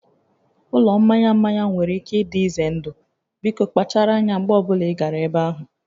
Ụlọ mmanya mmanya nwere ike ịdị ize ndụ, biko kpachara anya mgbe ọ bụla ị gara ebe ahụ